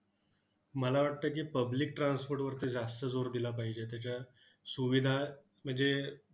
मला वाटतं की, public transport वरती जास्त जोर दिला पाहिजे. त्याच्या सुविधा म्हणजे